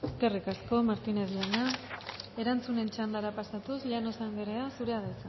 eskerrik asko martínez jauna erantzunen txandara pasatuz llanos andrea zurea da